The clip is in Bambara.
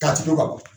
Ka tugu ka bɔ